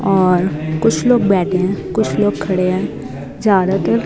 और कुछ लोग बैठे हैं कुछ लोग खड़े हैं चारों तर--